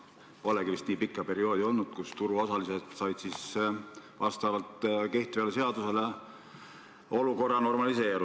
Polegi vist olnud teist nii pikka perioodi, mille jooksul turuosalised on saanud end seaduse nõuetele kohandada.